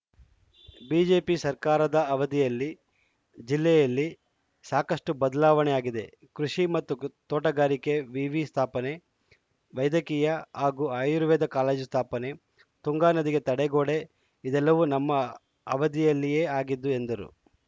BJP ಸರ್ಕಾರದ ಅವಧಿಯಲ್ಲಿ ಜಿಲ್ಲೆಯಲ್ಲಿ ಸಾಕಷ್ಟುಬದಲಾವಣೆಯಾಗಿದೆ ಕೃಷಿ ಮತ್ತು ಕು ತೋಟಗಾರಿಕೆ ವಿವಿ ಸ್ಥಾಪನೆ ವೈದ್ಯಕೀಯ ಹಾಗೂ ಆಯುರ್ವೇದ ಕಾಲೇಜು ಸ್ಥಾಪನೆ ತುಂಗಾ ನದಿಗೆ ತಡೆಗೋಡೆ ಇದೆಲ್ಲವೂ ನಮ್ಮ ಅವಧಿಯಲ್ಲಿಯೇ ಆಗಿದ್ದು ಎಂದರು